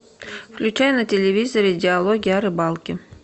включай на телевизоре диалоги о рыбалке